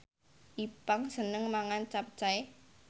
Ipank seneng mangan capcay